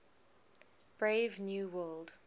brave new world